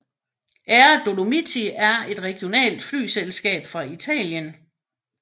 Air Dolomiti er et regionalt flyselskab fra Italien